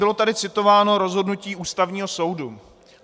Bylo tady citováno rozhodnutí Ústavního soudu.